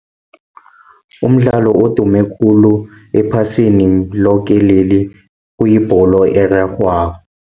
Umdlalo odume khulu ephasini loke leli kuyibholo erarhwako.